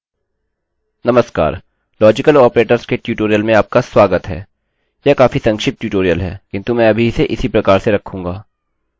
नमस्कार logical operators के tutorial में आपका स्वागत है यह काफी संक्षिप्त ट्यूटोरियल है किन्तु मैं अभी इसे इसी प्रकार से रखूँगा